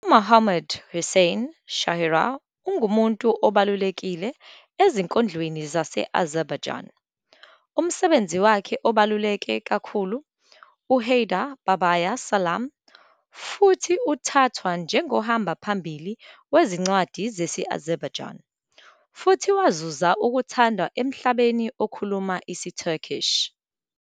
U-Mohammad-Hossein Shahriar ungumuntu obalulekile ezinkondlweni zase-Azerbaijani. Umsebenzi wakhe obaluleke kakhulu u- "Heydar Babaya Salam" futhi uthathwa njengohamba phambili wezincwadi zesi-Azerbaijani futhi wazuza ukuthandwa emhlabeni okhuluma isiTurkic.